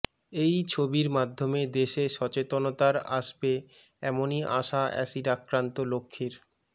এই ছবির মাধ্যমে দেশে সচেতনতার আসবে এমনই আশা অ্যাসিড আক্রান্ত লক্ষ্মীর